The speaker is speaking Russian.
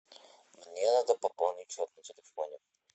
мне надо пополнить счет на телефоне